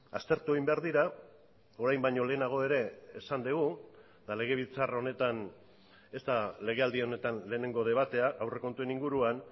aztertu egin behar dira orain baino lehenago ere esan dugu eta legebiltzar honetan ez da legealdi honetan lehenengo debatea aurrekontuen inguruan